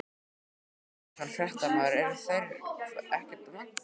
Telma Tómasson, fréttamaður: Eru þeir ekkert vankaðir?